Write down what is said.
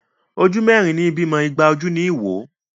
Ojú mẹ́rin ní bímọ, igba ojú ní wò.